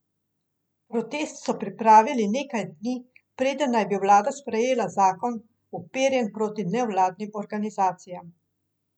Protest so pripravili nekaj dni, preden naj bi vlada sprejela zakon, uperjen proti nevladnim organizacijam.